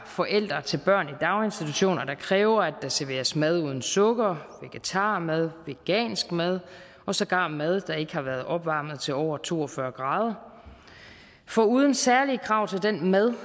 forældre til børn i daginstitutioner der kræver at der serveres mad uden sukker vegetarmad vegansk mad og sågar mad der ikke har været opvarmet til over to og fyrre grader foruden særlige krav til den mad